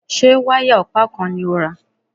Ṣé wáyà ọ̀pá kan ni ó rà?